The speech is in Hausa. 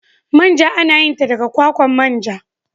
Manja ana yin ta daga kwakwan manja.